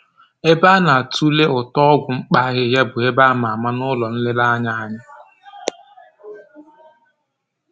Ebe a na-atule ụtọ ọgwụ mkpa ahịhịa bụ ebe a ma ama n'ụlọ nlereanya anyị